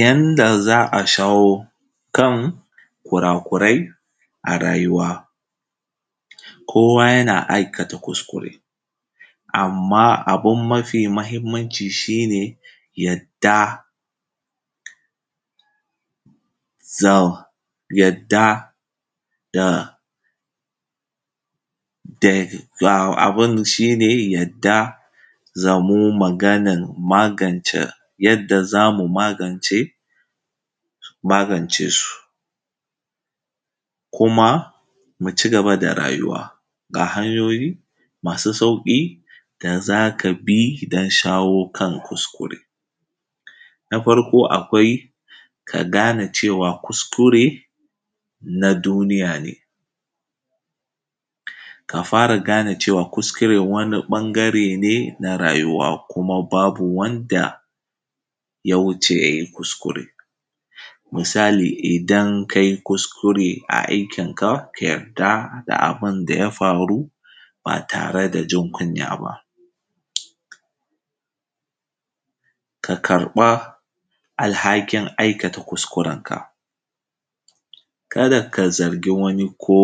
Yanda zaa shawo kan kurakurai a rayuwa, kowa yana aikata kuskure, amma abun mafi mahimmanci shi ne yadda za mu magance su kuma mu cigaba da rayuwa ga hanyoyi masu sauƙi da za ka bi don shawo kansu. Na farko, akwai ka gane cewa kuskure na duniya ne ka fara gane cewa kuskure wani ɓangare ne na rayuwa, kuma babu wanda ya wuce ya yi kuskure, ka sani idan ka yi kuskure a aikinka, ka yarda da abin da ya faru ba tare da jin kunya ba; ka karɓa alhakin aikata kuskuren ka, ka da ka zargi wani ko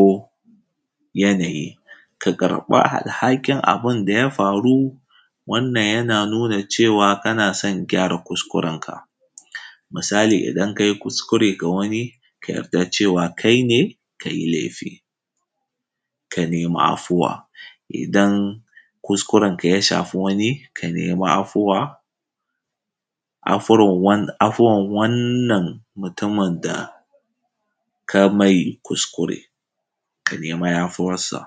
yanayi ka karɓa alhakin abun da ya faru. Wannan yana nuna cewa kana san gyara kuskurenka, misali idan kai kuskure ka yarda cewa kai ne ka yi lefi, ka nema afuwa, idan kuskurenka ya shafa wani ka nema afuwa, afuwan wannan mutumin da ka mai kuskure, ka nemi yafiyarsa.